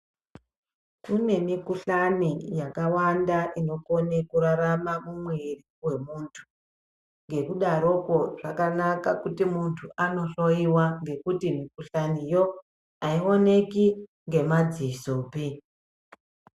Kune mikhuhlani yakawanda inokone kurarama mumwiri wemuntu nekudarokwo zvakanaka kuti muntu anohloyiwa ngekuti mikhuhlaniyo aioneki ngemadzisopi.